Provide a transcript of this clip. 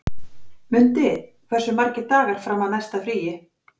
Mundi, hversu margir dagar fram að næsta fríi?